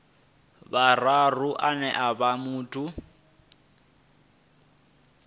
vhuraru ane a vha muthu